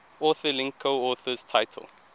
authorlink coauthors title